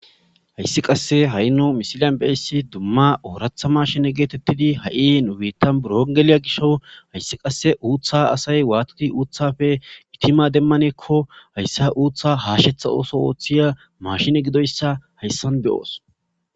hayssi qasse haino misiliyan beyssi dumma ooratha mashine geetettidi ha7inwiittan burongeliya gisho hayssi qasse uuththa asay waatidi uuthafe gitima demmaneekko hayssa uuththa haashetha ooso ooththiya mashine gidoyssa hayssan beyoos